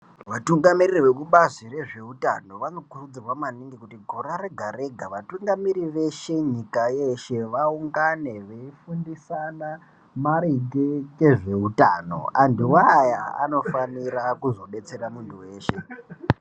Vatungamiriri vekubazi rezveutano vanokurudzirwa maningi kuti gore rega rega vatungamiriri veshe nyika yeshe vaungane veifundisana maringe ngezveutano antuwo aya anofanira kuzodetsera muntu weshe.